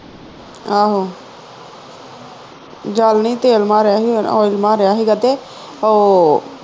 ਆਹੋ ਜਲ ਨਹੀਂ ਤੇਲ ਮਾਰਿਆ ਹੀ oil ਮਾਰਿਆ ਹੀ ਤੇ ਉਹ